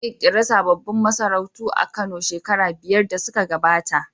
An ƙirƙiri sabbin masarautu a Kano shekaru biyar da suka gabata.